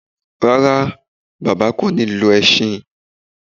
Rárá, bàbá kò ní lo ẹṣin